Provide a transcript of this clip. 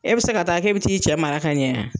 E bɛ se ka taa k'e bi t'i cɛ mara ka ɲɛ